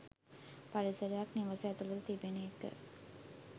පරිසරයක් නිවස ඇතුළත තිබෙන එක